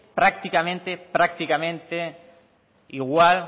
prácticamente prácticamente igual